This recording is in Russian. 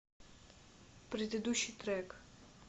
предыдущий трек